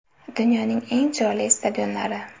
Dunyoning eng chiroyli stadionlari .